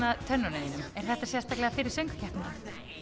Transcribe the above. tönnunum þínum er þetta sérstaklega fyrir söngvakeppnina